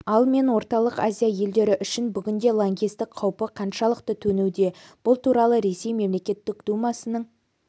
ал мен орталық азия елдері үшін бүгінде лаңкестік қаупі қаншалықты төнуде бұл туралы ресей мемлекеттік думасының